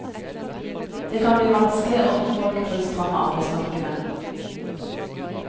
Det kan bli vanskelig å få folk på det stramme arbeidsmarkedet.